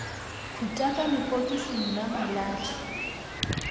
khuta ka lepokising la malahla